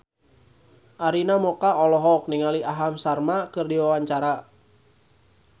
Arina Mocca olohok ningali Aham Sharma keur diwawancara